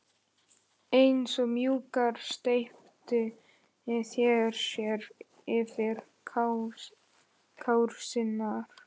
Eins og múkkar steyptu þeir sér yfir krásirnar.